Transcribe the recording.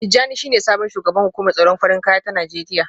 Tijjani shine sabon shugaban hukumar tsaron farin kaya ta Najeriya